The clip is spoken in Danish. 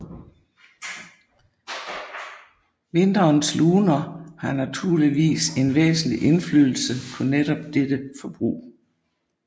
Vinterens luner har naturligvis en væsentlig indflydelse på netop dette forbrug